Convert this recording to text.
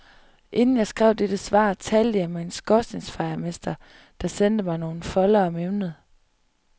Inden jeg skrev dette svar, talte jeg med en skorstensfejermester, der sendte mig nogle foldere om emnet.